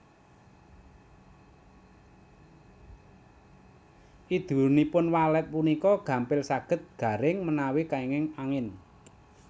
Idunipun walet punika gampil saged garing menawi kènging angin